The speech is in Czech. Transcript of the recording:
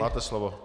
Máte slovo.